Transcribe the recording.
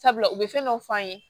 Sabula u bɛ fɛn dɔ f'an ye